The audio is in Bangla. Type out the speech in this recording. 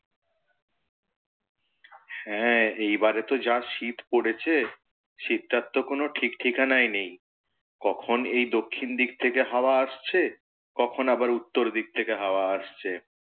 হ্যাঁ এইবারে তো যা শীত পড়েছে, শীতটার তো কোন ঠিক ঠিকানাই নেই। কখন এই দক্ষিন দিক থেকে হাওয়া আসছে কখন আবার উত্তর দিক থেকে হাওয়া আসছে।